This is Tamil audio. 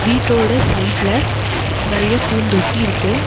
வீட்டோட சைடுல நெறைய பூந்தொட்டி இருக்கு.